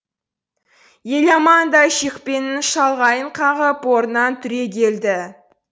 еламан да шекпенінің шалғайын қағып орнынан түрегелді